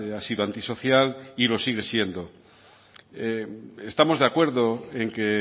ha sido antisocial y lo sigue siendo estamos de acuerdo en que